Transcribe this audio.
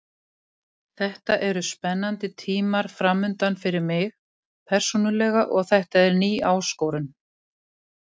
Þetta eru spennandi tímar framundan fyrir mig persónulega og þetta er ný áskorun.